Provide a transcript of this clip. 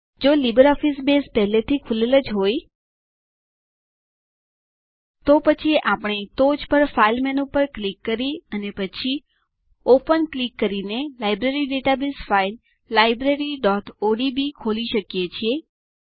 જો LibreOffice Base પહેલાથી ખૂલેલું જ હોય પછી આપણે ટોચ પર ફાઇલ મેનુ પર ક્લિક કરી અને પછી ઓપન ક્લિક કરીને લાઈબ્રેરી ડેટાબેઝ ફાઈલ libraryઓડીબી ખોલી શકીએ છીએ